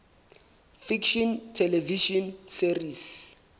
fiction television series